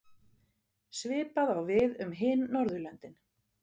Svipað á við um hin Norðurlöndin.